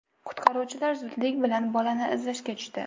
Qutqaruvchilar zudlik bilan bolani izlashga tushdi.